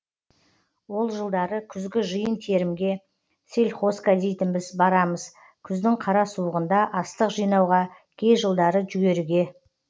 ол жылдары күзгі жиын терімге сельхозка дейтінбіз барамыз күздің қара суығында астық жинауға кей жылдары жүгеріге